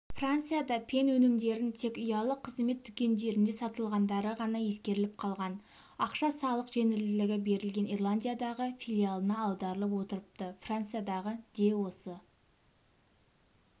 францияда пен өнімдерін тек ұялы қызмет дүкендерінде сатылғандарығана ескеріліп қалған ақша салық жеңілдігі берілген ирландиядағы филиалына аударылып отырыпты франциядағы де осы